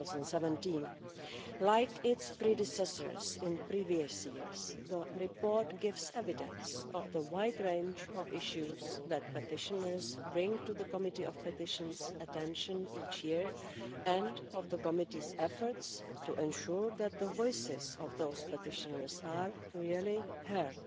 2017. Like its predecessors in previous years, the report gives evidence of the wide range of issues that petitioners bring to PETI's attention each year, and of the committee's efforts to ensure that the voices of those petitioners are really heard.